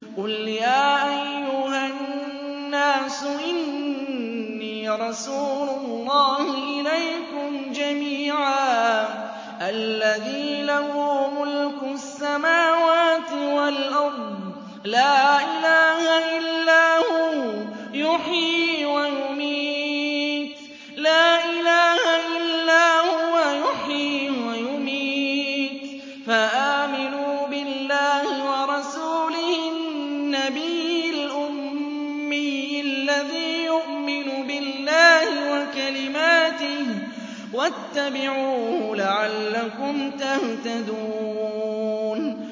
قُلْ يَا أَيُّهَا النَّاسُ إِنِّي رَسُولُ اللَّهِ إِلَيْكُمْ جَمِيعًا الَّذِي لَهُ مُلْكُ السَّمَاوَاتِ وَالْأَرْضِ ۖ لَا إِلَٰهَ إِلَّا هُوَ يُحْيِي وَيُمِيتُ ۖ فَآمِنُوا بِاللَّهِ وَرَسُولِهِ النَّبِيِّ الْأُمِّيِّ الَّذِي يُؤْمِنُ بِاللَّهِ وَكَلِمَاتِهِ وَاتَّبِعُوهُ لَعَلَّكُمْ تَهْتَدُونَ